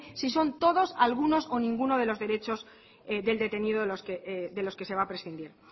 si son todos algunos o ninguno de los derechos del detenido de los que se va a prescindir